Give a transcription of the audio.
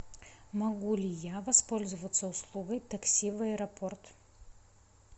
могу ли я воспользоваться услугой такси в аэропорт